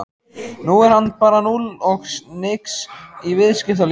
Nú er hann bara núll og nix í viðskiptalífinu!